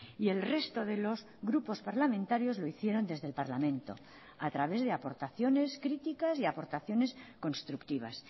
y el resto de los grupos parlamentarios lo hicieron desde el parlamento a través de aportaciones críticas y aportaciones constructivas